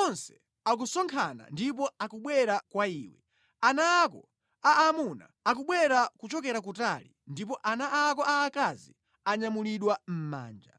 Onse akusonkhana ndipo akubwera kwa iwe; ana ako a amuna akubwera kuchokera kutali ndipo ana ako aakazi anyamulidwa mʼmanja.